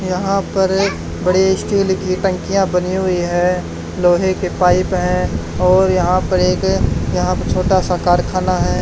यहां पर बड़े स्टील की टंकियां बनी हुई है लोहे के पाइप है और यहां पर एक यहां पर छोटा सा कारखाना है।